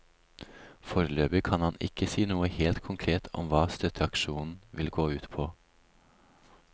Foreløpig kan han ikke si noe helt konkret om hva støtteaksjonen vil gå ut på.